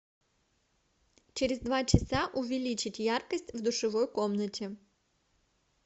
через два часа увеличить яркость в душевой комнате